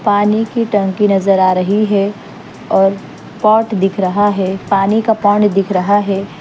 पानी की टंकी नजर आ रही है और पॉट दिख रहा है पानी का पॉट दिख रहा है।